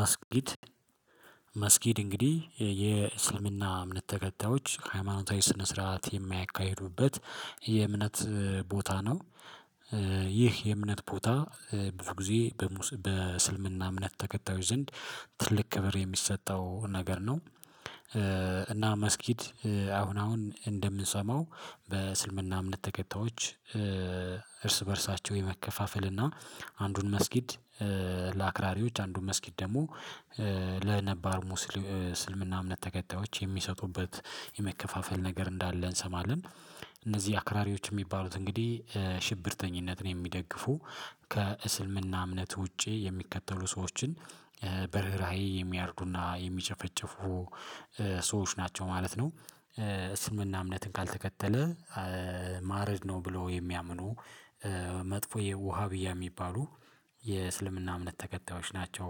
መስጊድ መስጊድ እንግዲህ የእስልምና እምነት ተከታዮች ሃይማኖታዊ ስነ ስርዓት የማያካሂዱበት የእምነት ቦታ ነው። ይህ የእምነት ቦታ ብዙ ጊዜ በስልምና እምነት ተከታዮች ዘንድ ትልቅ ክብር የሚሰጠው ነገር ነው። እና መስጊድ አሁን አሁን እንደምንሰማው በስልምና እምነት ተከታዮች። እርስ በእርሳቸው የመከፋፈል እና አንዱን መስጊድ ለአክራሪዎች አንዱን መስጊድ ደግሞ ለነባር ሙስልምና እምነት ተከታዮች የሚሰጡበት ነገር እንዳለ እንሰማለን። እነዚህ አክራሪዎች የሚባሉት እንግዲህ ሽብርተኝነትን የሚደግፉ ከእስልምና እምነት ውጪ የሚከተሉ ሰዎችን በርህራሄ የሚያርዱና የሚጨፈጨፉ ሰዎች ናቸው ማለት ነው። ስምምና እምነትን ካልተከተለ ማረድ ነው ብሎ የሚያምኑ መጥፎ የውሃ ብያ የሚባሉ የእስልምና እምነት ተከታዮች ናቸው።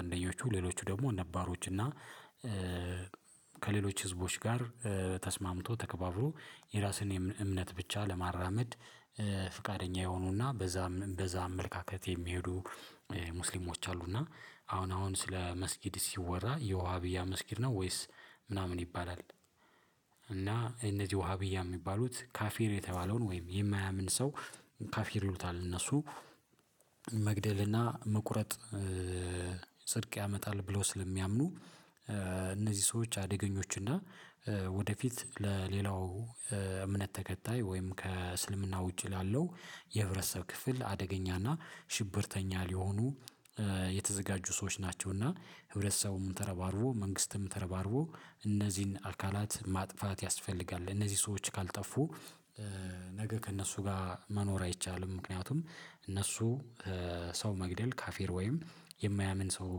አንደኛዎቹ ሌሎቹ ደግሞ እነ ባሮች እና ከሌሎች ህዝቦች ጋር ተስማምቶ ተከባብሮ የራስን እምነት ብቻ ለማራመድ ፍቃደኛ የሆኑና በዛ በዛ አመለካከት የሚሄዱ ሙስሊሞች አሉና። አሁን አሁን ስለ መስጊድ ሲወራ የውሃ ብያ መስጊድ ነው ወይስ ምናምን ይባላል? እና እነዚህ ውሃ ብያ የሚባሉት ካፌር የተባለውን ወይም የማያምን ሰው ካፌር ይሉታል እነሱ። መግደልና መቁረጥ ጽድቅ ያመጣል ብሎ ስለሚያምኑ እነዚህ ሰዎች አደገኞች እና ወደፊት ለሌላው እምነት ተከታይ ወይም ከእስልምና ውጪ ላለው የህብረተሰብ ክፍል አደገኛና ሽብርተኛ ሊሆኑ የተዘጋጁ ሰዎች ናቸውና። ህብረተሰቡም ተረባርቦ መንግስትም ተረባርቦ እነዚህን አካላት ማጥፋት ያስፈልጋል እነዚህ ሰዎች ካልጠፉ። ከእነሱ ጋር መኖር አይቻልም። ምክንያቱም እነሱ ሰው መግደል ካፌር ወይም የማያምን ሰው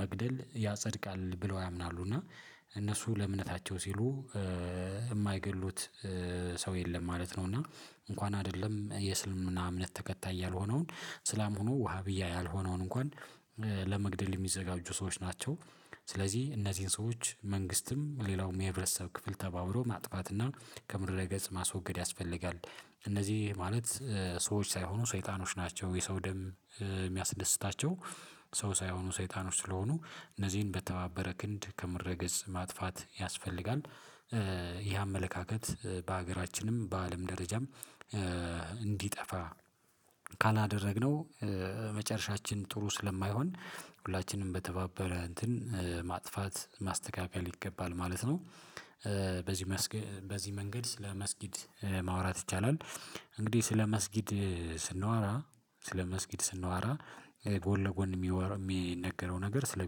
መግደል ያጸድቃል ብለው ያምናሉ እና እነሱ ለእምነታቸው ሲሉ የማይገድሉት ሰው የለም ማለት ነው። እና እንኳን አይደለም የእስልምና እምነት ተከታይ ያልሆነውን ስላም ሆኖ ውሃ ብዬ ያልሆነውን እንኳን ለመግደል የሚዘጋጁ ሰዎች ናቸው። ስለዚህ እነዚህን ሰዎች መንግስትም ሌላውም የህብረተሰብ ክፍል ተባብሮ ማጥፋትና ከምድረ ገጽ ማስወገድ ያስፈልጋል። እነዚህ ማለት ሰዎች ሳይሆኑ ሰይጣኖች ናቸው የሰው ደም የሚያስደስታቸው ሰው ሳይሆኑ ሰይጣኖች ስለሆኑ እነዚህን በተባበረ ክንድ ከምርገጽ ማጥፋት ያስፈልጋል። ይህ አመለካከት በሀገራችንም በአለም ደረጃም እንዲጠፋ ካላደረግነው መጨረሻችን ጥሩ ስለማይሆን ሁላችንም በተባበረ እንትን ማጥፋት ማስተካከል ይገባል ማለት ነው። በዚህ በዚህ መንገድ ስለመስጊድ ማውራት ይቻላል። እንግዲህ ስለመስጊድ ስንዋራ ስለመስጊድ ስንዋራ ጎን ለጎን የሚነገረው ነገር ስለ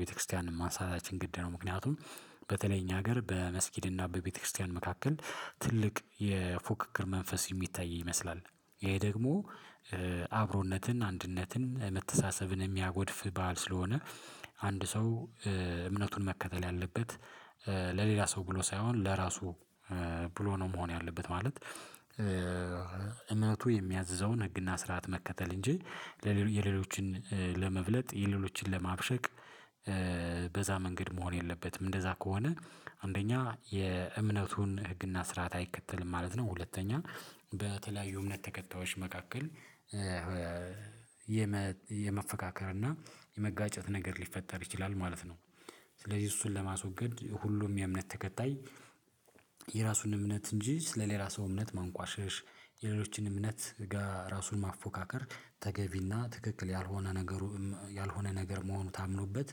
ቤተክርስቲያን ማንሳታችን ግድ ነው። ምክንያቱም በተለይ እኛ ሀገር በመስጊድና በቤተክርስቲያን መካከል ትልቅ የፉክክር መንፈስ የሚታይ ይመስላል። ይሄ ደግሞ አብሮነትን አንድነትን መተሳሰብን የሚያጎድፍ ባል ስለሆነ አንድ ሰው እምነቱን መከተል ያለበት ለሌላ ሰው ብሎ ሳይሆን ለራሱ ብሎ ነው መሆን ያለበት ማለት። እመቱ የሚያዝዘውን ህግና ስርዓት መከተል እንጂ የሌሎችን ለመብለጥ የሌሎችን ለማብሸቅ በዛ መንገድ መሆን የለበትም። እንደዛ ከሆነ አንደኛ የእምነቱን ህግና ስርዓት አይከተልም ማለት ነው። ሁለተኛ በተለያዩ እምነት ተከታዮች መካከል የመፈካከር እና የመጋጨት ነገር ሊፈጠር ይችላል ማለት ነው። ስለዚህ እሱን ለማስወገድ ሁሉም የእምነት ተከታይ የራሱን እምነት እንጂ ስለሌላ ሰው እምነት ማንቋሸሽ የሌሎችን እምነት ጋር ራሱን ማፎካከር ተገቢና ትክክል ያልሆነ ነገሩ ያልሆነ ነገር መሆኑ ታምኖበት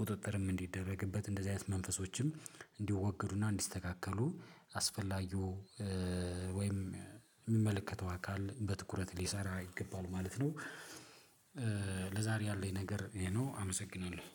ቁጥጥርም እንዲደረግበት እንደዚህ አይነት መንፈሶችም እንዲወገዱና እንዲስተካከሉ አስፈላጊው ወይም የሚመለከተው አካል በትኩረት ሊሰራ ይገባል ማለት ነው። ለዛሬ ያለኝ ነገር ነው አመሰግናለሁ